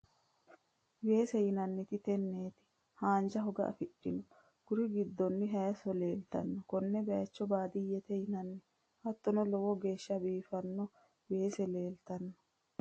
Weese yinaniti tenneti hanja hooga afidhino kuri hiddonno hayiso leelitanno konne bayicho badiyete yinanni hattono low geshsha bifino weese lelitanno